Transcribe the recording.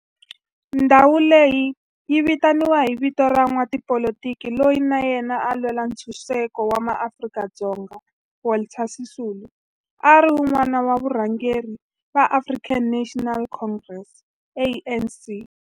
Ndhawo leyi yi vitaniwa hi vito ra n'watipolitiki loyi na yena a lwela ntshuxeko wa maAfrika-Dzonga Walter Sisulu, a ri wun'wana wa varhangeri va African National Congress, ANC.